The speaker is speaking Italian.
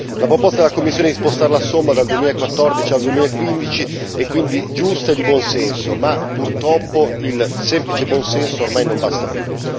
La proposta della Commissione di spostare la somma dal 2014 al 2015 è quindi giusta e di buon senso, ma purtroppo il semplice buon senso ormai non basta più.